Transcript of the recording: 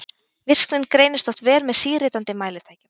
Virknin greinist oft vel með síritandi mælitækjum.